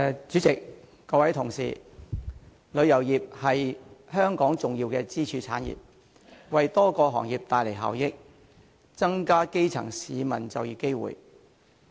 主席，各位同事，旅遊業是香港重要的支柱產業，為多個行業帶來效益，增加基層市民的就業機會。